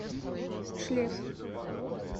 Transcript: шлеф